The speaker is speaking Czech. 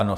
Ano.